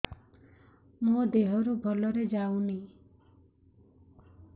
ମୋ ଦିହରୁ ଭଲରେ ଯାଉନି